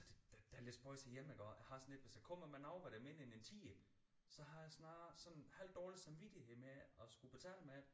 Det det er lidt spøjst herhjemme iggå jeg har sådan lidt hvis jeg kommer med noget hvor det er mindre end en tier så har jeg snart sådan halvdårlig samvittighed med at skulle betale med det